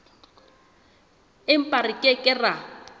empa re ke ke ra